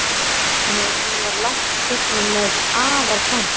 Hún var langt gengin með og afar framsett.